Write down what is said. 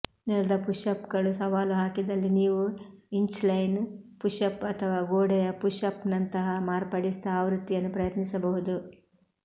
ನೆಲದ ಪುಷ್ಅಪ್ಗಳು ಸವಾಲು ಹಾಕಿದಲ್ಲಿ ನೀವು ಇಂಚ್ಲೈನ್ ಪುಶ್ಅಪ್ ಅಥವಾ ಗೋಡೆಯ ಪುಷ್ಅಪ್ನಂತಹ ಮಾರ್ಪಡಿಸಿದ ಆವೃತ್ತಿಯನ್ನು ಪ್ರಯತ್ನಿಸಬಹುದು